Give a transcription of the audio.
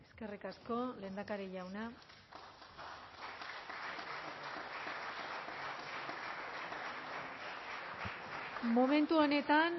eskerrik asko lehendakari jauna momentu honetan